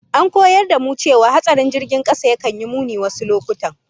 An koyar da mu cewa hatsarin jirgin kasa yakan yi muni wasu lokutan